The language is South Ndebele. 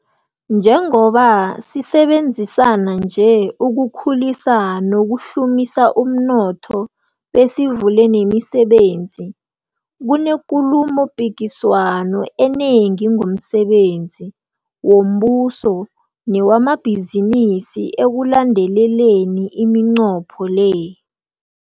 Njengoba sisebenzisana nje ukukhulisa nokuhlumisa umnotho besivule nemisebenzi, kunekulumopikiswano enengi ngomsebenzi wombuso newamabhizinisi ekulandeleleni iminqopho le.